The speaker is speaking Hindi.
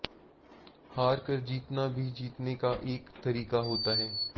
हार कर जीतना भी जीतने का एक तरीका होता है